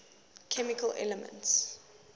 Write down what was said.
chemical elements